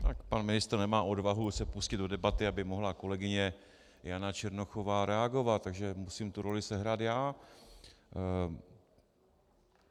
Tak pan ministr nemá odvahu se pustit do debaty, aby mohla kolegyně Jana Černochová reagovat, takže musím tu roli sehrát já.